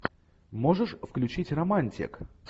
можешь включить романтик